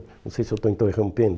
Não sei se eu estou, interrompendo.